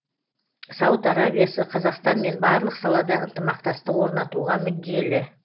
сауд арабиясы қазақстанмен барлық салада ынтымақтастық орнатуға мүдделі